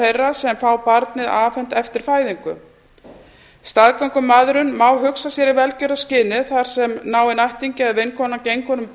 þeirra sem fá barnið afhent eftir fæðingu staðgöngumæðrun má hugsa sér í velferðarskyni þar sem náinn ættingi eða vinkona gengur með